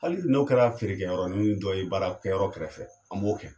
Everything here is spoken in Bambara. Hali n'o kɛra feere kɛyɔrɔnin dɔ ye baara kɛyɔrɔ kɛrɛfɛ an b'o kɛ.